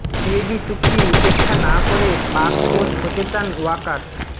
CAB চুক্তি উপেক্ষা না করে পাক কোচ হতে চান ওয়াকার